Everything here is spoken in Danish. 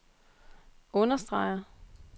understreger